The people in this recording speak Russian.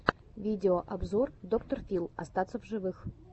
видеообзор доктор фил остаться в живых